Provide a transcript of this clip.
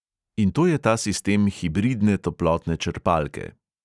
In to je ta sistem hibridne toplotne črpalke.